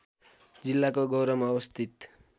जिल्लाको गौरमा अवस्थित